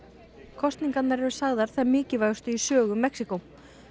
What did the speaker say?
kosningarnar eru sagðar þær mikilvægustu í sögu Mexíkó